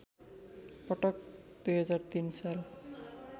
पटक २००३ साल